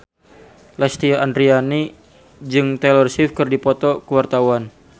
Lesti Andryani jeung Taylor Swift keur dipoto ku wartawan